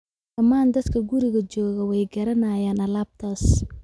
Dhammaan dadka guriga joogaa way garanayaan alaabtaas